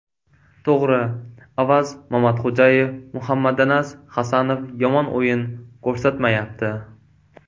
To‘g‘ri, Avaz Mamatxo‘jayev, Muhammadanas Hasanov yomon o‘yin ko‘rsatmayapti.